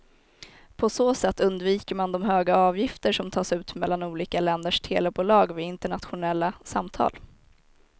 På så sätt undviker man de höga avgifter som tas ut mellan olika länders telebolag vid internationella samtal.